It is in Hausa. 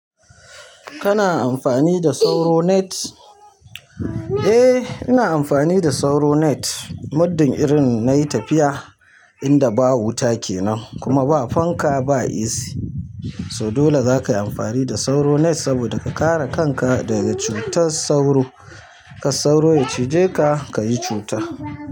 Kana amfani da sauro net? Eh ina amfani da sauro net muddin irin nayi tafiya inda ba wuta kenan kuma ba fanka ba AC. So dole zaka yi amfani da sauro net saboda ka kare kanka daga cutar sauro. Kar sauro ya cije ka, kayi cuta.